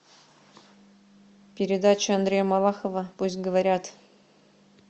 передача андрея малахова пусть говорят